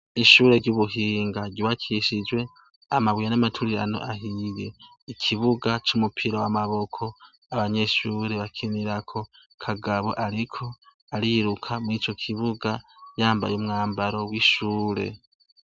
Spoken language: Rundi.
Ishure ry'ubuhinga ryubakishijwe amabuye n'amaturirano ahiye, ikibuga c'umupira w'amaboko abanyeshuri bakinirako Kagabo ariko ariruka murico kibuga yambaye umwambaro w'ishure.